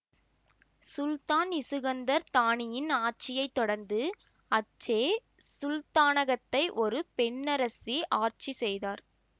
சுல்தான் Iskandar தானியின் ஆட்சியை தொடர்ந்து அச்சே சுல்தானகத்தை ஒரு பெண்ணரசி ஆட்சி செய்தார்